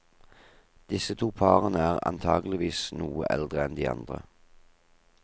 Disse to parene er antakeligvis noe eldre enn de andre.